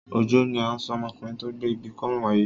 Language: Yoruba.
Òjó ni à ń sọ ọmọkùnrin tó gbé ibi kọ́rùn wáyé.